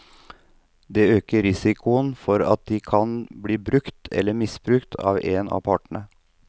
Det øker risikoen for at de kan bli brukt eller misbrukt av en av partene.